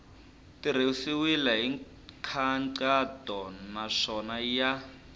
tirhisiwile hi nkhaqato naswona ya